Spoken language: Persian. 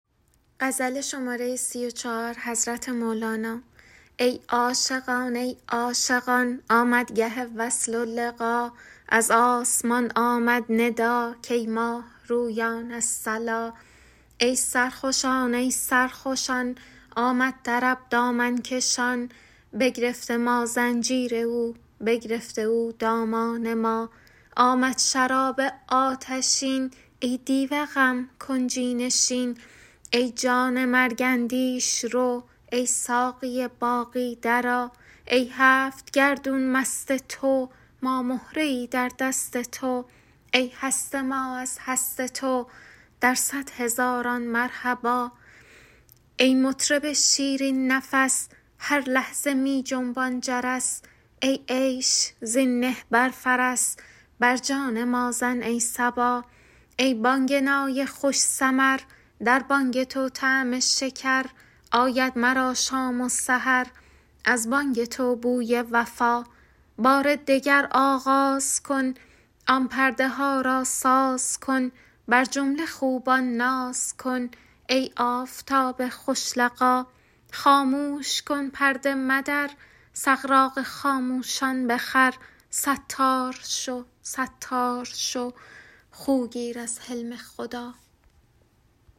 ای عاشقان ای عاشقان آمد گه وصل و لقا از آسمان آمد ندا کای ماه رویان الصلا ای سرخوشان ای سرخوشان آمد طرب دامن کشان بگرفته ما زنجیر او بگرفته او دامان ما آمد شراب آتشین ای دیو غم کنجی نشین ای جان مرگ اندیش رو ای ساقی باقی درآ ای هفت گردون مست تو ما مهره ای در دست تو ای هست ما از هست تو در صد هزاران مرحبا ای مطرب شیرین نفس هر لحظه می جنبان جرس ای عیش زین نه بر فرس بر جان ما زن ای صبا ای بانگ نای خوش سمر در بانگ تو طعم شکر آید مرا شام و سحر از بانگ تو بوی وفا بار دگر آغاز کن آن پرده ها را ساز کن بر جمله خوبان ناز کن ای آفتاب خوش لقا خاموش کن پرده مدر سغراق خاموشان بخور ستار شو ستار شو خو گیر از حلم خدا